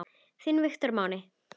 Þinn Viktor Máni.